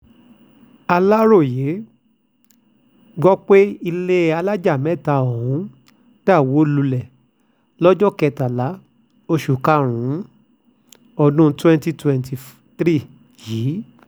aláròye gbọ́ pé ilé alájà mẹ́ta ọ̀hún dà wó lulẹ̀ lọ́jọ́ kẹtàlá oṣù karùn-ún ọdún twenty twenty three yìí